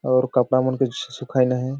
और कपड़ा मन के सुखाइन है।